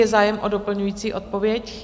Je zájem o doplňující odpověď?